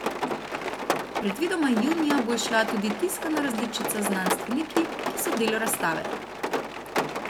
Predvidoma junija bo izšla tudi tiskana različica z znanstveniki, ki so del razstave.